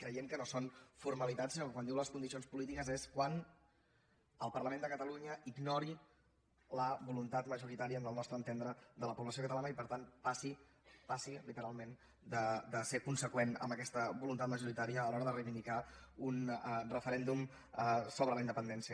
creiem que no són formalitats sinó que quan diu les condicions polítiques és quan el parlament de catalunya ignori la voluntat majoritària al nostre entendre de la població catalana i per tant passi passi literalment de ser conseqüent amb aquesta voluntat majoritària a l’hora de reivindicar un referèndum sobre la independència